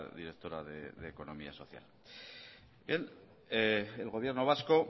directora de economía social bien el gobierno vasco